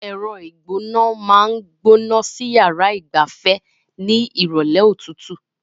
Ẹ̀rọ ìgbóná máa ń gbóná sí yàrá ìgbafẹ́ ní ìrọ̀lẹ́ òtútù.